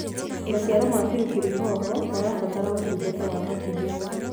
maciaro ma biribiri hoho marabatara utungata wa hakuhi